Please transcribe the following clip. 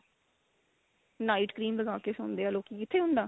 night cream ਲਗਾ ਕੇ ਸੋਂਦੇ ਏ ਲੋਕੀ ਕਿੱਥੇ ਹੁੰਦਾ